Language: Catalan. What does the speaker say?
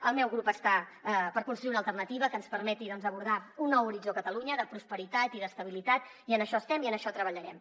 el meu grup està per construir una alternativa que ens permeti doncs abordar un nou horitzó a catalunya de prosperitat i d’estabilitat i en això estem i en això treballarem